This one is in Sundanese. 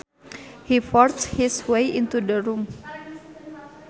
He forced his way into the room